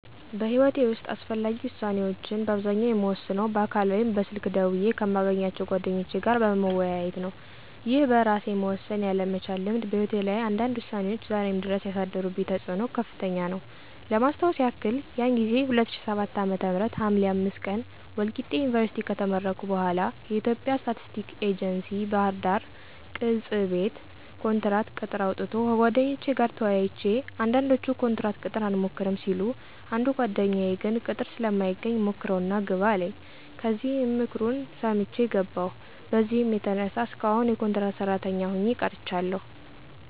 በሕይወቴ ዉስጥ አስፈላጊ ዉሳኔዎችን በአብዛኛው የምወስነው በአካል ወይም በስልክ ደውየ ከማገኛቸው ጓደኞቼ ጋር በመወያየት ነው። ይህ በእራሴ መወሰን ያለ መቻል ልምድ በህይወቴ ላይ አንዳንድ ውሳኔዎች ዛሬም ድረስ ያሳደሩብኝ ተፅኖ ከፍተኛ ነው። ለማስታወስ የክል ያን ጊዜ 2007 ዓ.ም ሀምሌ 05 ቀን ወልቂጤ ዩኒቨርስቲ ከተመረኩ በኋለ የኢትዬጵያ ስታቲስቲክስ ኤጀንሲ ባህርዳር ቅ/ጽ/ቤት ኮንትራት ቅጥር አውጥቶ ከጓደኞቼ ጋር ተወያይቼ አንዳንዶቹ ኮንትራት ቅጥር አንሞክርም ሲሉ አንዱ ጓደኛየ ግን ቅጥር ስለማይገኝ ሞክረው እና ግባ አለኝ ከዚያም ምክሩን ሰምቸ ገባው። በዚህም የተነሳ እስካሁን የኮንትራት ሰራተኛ ሆኘ ቀርቻለሁ።